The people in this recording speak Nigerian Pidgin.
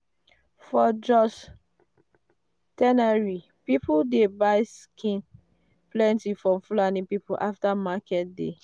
for jos tannery people dey buy skin plenty from fulani people after market day.